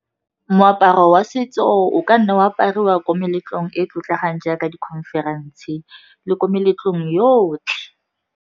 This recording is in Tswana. Moaparo wa setso o ka nna wa apariwa ko meletlong e e tlotlegang jaaka di-conference-e le ko meletlong yotlhe.